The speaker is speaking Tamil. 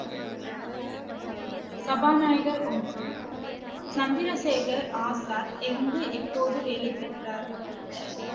சபாநாயகர் ஒன்று, சந்திரசேகர் ஆசாத் எங்கு எப்போது வேலை பெற்றார்